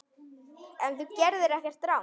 En þú gerðir ekkert rangt.